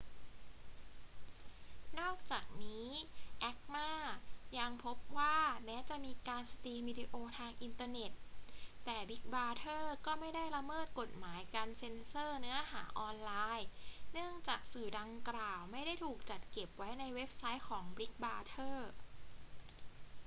นอกจากนี้ acma ยังพบว่าแม้จะมีการสตรีมวิดีโอทางอินเทอร์เน็ต แต่บิกบราเธอร์ก็ไม่ได้ละเมิดกฎหมายการเซ็นเซอร์เนื้อหาออนไลน์ เนื่องจากสื่อดังกล่าวไม่ได้ถูกจัดเก็บไว้ในเว็บไซต์ของบิกบราเธอร์